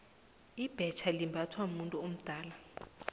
ibhetja limbathwa mumuntu omduna